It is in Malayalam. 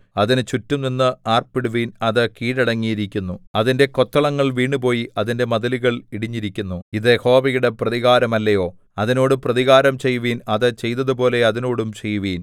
അതിന് ചുറ്റും നിന്ന് ആർപ്പിടുവിൻ അത് കീഴടങ്ങിയിരിക്കുന്നു അതിന്റെ കൊത്തളങ്ങൾ വീണുപോയി അതിന്റെ മതിലുകൾ ഇടിഞ്ഞിരിക്കുന്നു ഇത് യഹോവയുടെ പ്രതികാരമല്ലയോ അതിനോട് പ്രതികാരം ചെയ്യുവിൻ അത് ചെയ്തതുപോലെ അതിനോടും ചെയ്യുവിൻ